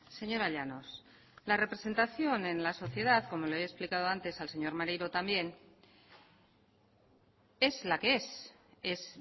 señora llanos la representación en la sociedad como le he explicado antes al señor maneiro también es la que es es